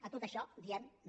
a tot això diem no